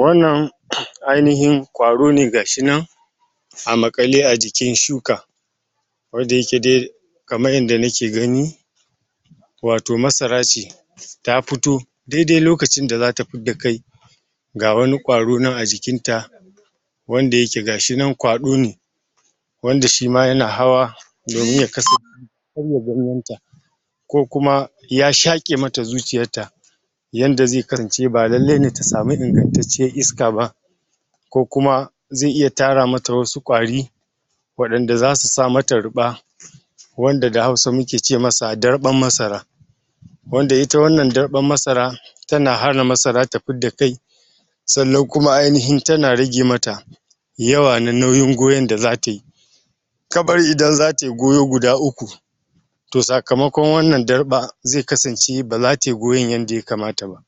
Wannan ainihin ƙwaro ne gashi nan, a maƙale a jikin shuka. Ko da yake dai, kamar yanda nake gani wato masara ce. Ta fito, dai-dai lokacin da za ta fidda kai. Ga wani ƙwaro nan a jikin ta, wanda yake ga shi nan kwaɗo ne, wanda shi ma ya na hawa domin ya kasance karya ganyen ta. Ko kuma ya shaƙe ma ta zuciyar ta. Yanda zai kasance ba lallai ne ta samu ingantacciyar iska ba. Ko kuma zai iya tara ma ta wasu ƙwari, waɗanda za su sa ma ta ruɓa. Wanda da Hausa muke ce ma sa darɓan masara. Wanda ita wannan darɓan masara, ta na hana masara ta fidda kai sannan kuma ainihin ta na rage ma ta yawan na nauyin goyon da za ta yi. Kamar idan za ta yi goyo guda uku, to sakamkon wannan darɓar, zai kasance ba za tayi goyon yanda ya kamata ba.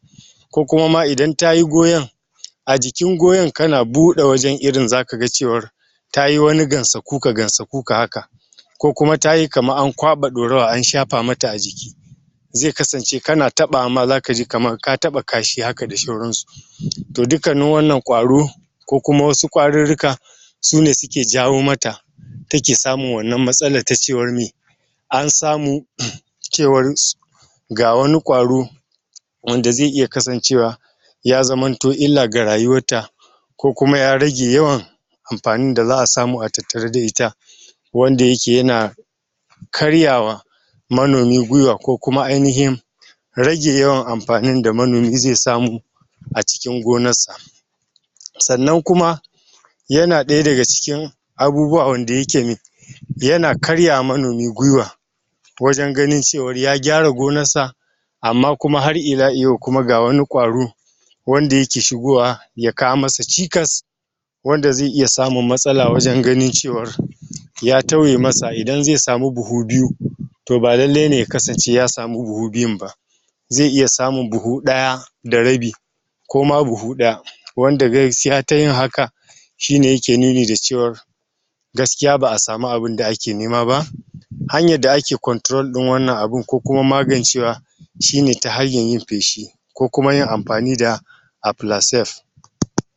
Ko kuma ma idan tayi goyon, a jikin goyon ka na buɗe wajen irin za ka ga cewar tayi wani gansa kuka-gansa kuka haka. Ko kuma tayi kamar an kwaɓa ɗorawa an shafa ma ta a jiki. Zai kasance ka na taɓawa ma za ka ji kamar ka taɓa kashe haka da sauransu. To dukkanin wannan ƙwaro, ko kuma wasu ƙwarurruka, sune su ke jawo ma ta take samun wannan matsalar ta cewar mi an samu cewar ga wani ƙwaro wanda zai iya kasance ya zamanto illa ga rayuwar ta. Ko kuma ya rage yawan amfanin da za'a samu a tattare da ita. Wanda yake ya na karyawa manomi gwiwa, ko kuma ainihin rage yawan amfani da manomi zai samu a cikin gonarsa. Sannan kuma ya na ɗaya daga cikin abubuwa wanda yake me ya na karyawa manomi gwiwa, wajen ganin cewa ya gyara gonarsa amma kuma har ila iyau kuma ga wani ƙwaro wanda yake shigowa ya kawo ma sa cikas wanda zai iya samun matsala waje ganin cewa ya tauye ma sa, wanda idan zai samu buhu biyu to ba lallai ne ya kasance ya samu buhu biyun ba. Za iya samun buhu ɗaya da rabi, ko ma buhu ɗaya, wanda gaskiya tayin haka shi ne yake nuni da cewar gaskiya ba'a samu abun da ake nema ba. Hanyar da ake control ɗin wannan abun, ko kuma magancewa shi ne ta hanyar yin feshi. Ko kuma yin amfani da aflasef.